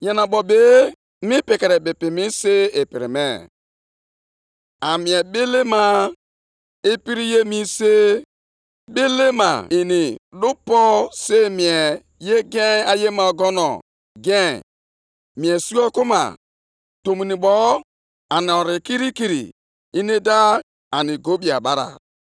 Mgbe ahụ Onyenwe anyị zara m sị, “Dee ọhụ + 2:2 Ya bụ, ọsịsa ahụ nʼelu mbadamba nkume e ji ede ihe. Depụta ya nke ọma, ka onye na-agba ọsọ nwee ike ịgụ ya.